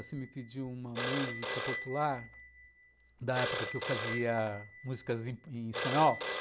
Você me pediu uma música popular da época em que eu fazia músicas em espanhol.